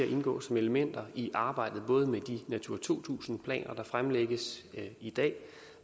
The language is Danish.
at indgå som elementer i arbejdet både med de natura to tusind planer der fremlægges i dag